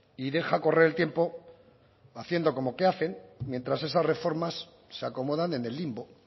y deja correr el tiempo haciendo como que hacen mientras esas reformas se acomodan en el limbo